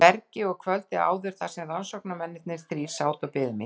bergi og kvöldið áður þar sem rannsóknarmennirnir þrír sátu og biðu mín.